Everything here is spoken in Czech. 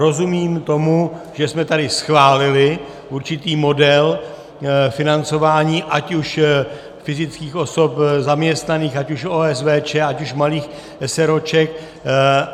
Rozumím tomu, že jsme tady schválili určitý model financování ať už fyzických osob zaměstnaných, ať už OSVČ, ať už malých eseróček.